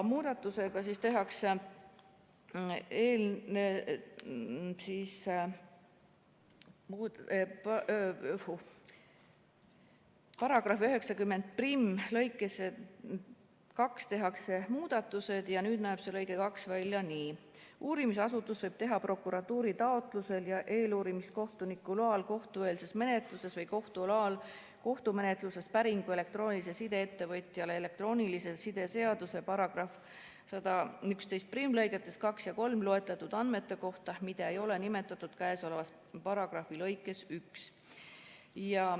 Muudatusega tehakse § 901 lõikesse 2 muudatused ja nüüd näeb lõige 2 välja nii: "Uurimisasutus võib teha prokuratuuri taotlusel ja eeluurimiskohtuniku loal kohtueelses menetluses või kohtu loal kohtumenetluses päringu elektroonilise side ettevõtjale elektroonilise side seaduse § 1111 lõigetes 2 ja 3 loetletud andmete kohta, mida ei ole nimetatud käesoleva paragrahvi lõikes 1.